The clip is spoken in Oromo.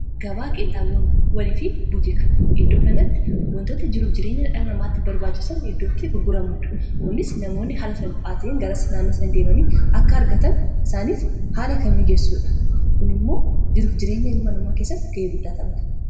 gabaa qeenxaaboowwanii fi buutika iddoo kanatti wantoota jiruuf jireenya dhala namaatti barbaachisan iddootti gurguramudha kunis namoonni haala salphaa ta'en garasi naannoo isaanii deemanii akka argatan isaaniif haala kan mijessuudha kun immoo jiruuf jireenya ilma namaa keessatti ga'ee guddaa taphata